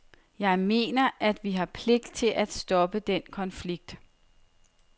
Jeg mener, at vi har pligt til at stoppe den konflikt.